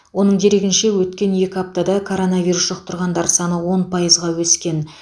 оның дерегінше өткен екі аптада коронавирус жұқтырғандар саны он пайызға өскен